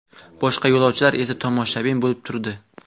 Boshqa yo‘lovchilar esa tomoshabin bo‘lib turdi.